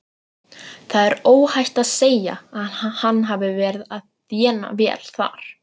Það er óhætt að segja að hann hafi verið að þéna vel þar.